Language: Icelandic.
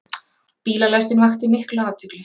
Bílalestin vakti mikla athygli.